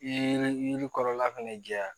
I ye yiri kɔrɔla fɛnɛ jɛya